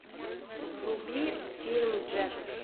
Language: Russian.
вруби фильм джет